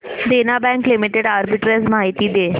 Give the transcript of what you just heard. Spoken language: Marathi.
देना बँक लिमिटेड आर्बिट्रेज माहिती दे